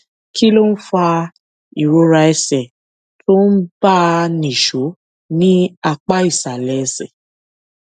kí ló ń fa ìrora ẹsè tó ń bá a nìṣó ní apá ìsàlè ẹsè